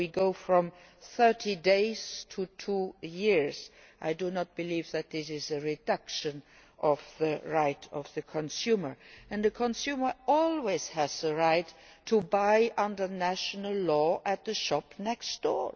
So we go from 30 days to two years. I do not believe that this is a reduction of the right of the consumer, who always has the right under national law to buy at the shop next door.